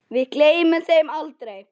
Við gleymum þeim aldrei.